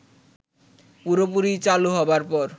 পুরোপুরি চালু হবার পর